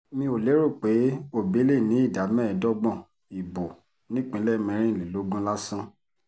mi ò lérò pé òbí lè ní ìdá mẹ́ẹ̀ẹ́dọ́gbọ̀n ìbò nípínlẹ̀ mẹ́rìnlélógún lásán